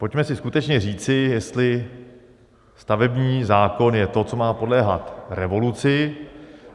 Pojďme si skutečně říci, jestli stavební zákon je to, co má podléhat revoluci.